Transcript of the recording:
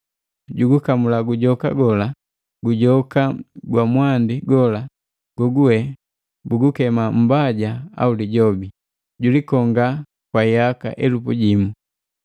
Julikamula gujoka gola, gujoka gwa mwandi gola, gogugwe bugukema Mbaja au Lijobi, julikonga kwa yaka elupu jimu.